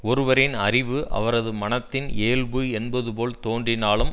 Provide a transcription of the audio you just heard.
ஒருவரின் அறிவு அவரது மனத்தின் இயல்பு என்பது போல் தோன்றினாலும்